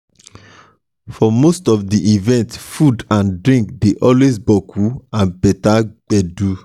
for most of di events food and drinks dey always boku and beter gbedu